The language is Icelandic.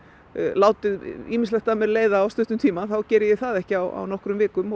láti ýmislegt af mér leiða á stuttum tíma þá geri ég það ekki á nokkrum vikum